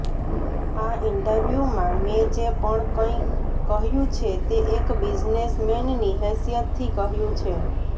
આ ઈંટરવ્યુમાં મેં જે પણ કઈ કહ્યુ છે તે એક બિઝનેસ મેનની હૈસિયતથી કહ્યુ છે